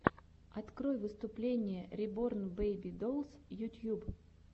открой выступление реборн бэйби долс ютьюб